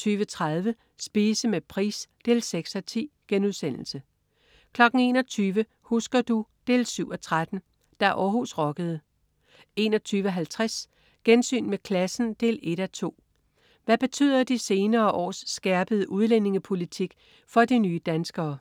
20.30 Spise med Price 6:10* 21.00 Husker du? 7:13. Da Århus rockede 21.50 Gensyn med klassen 1:2. Hvad betyder de senere års skærpede udlændingepolitik for de nye danskere?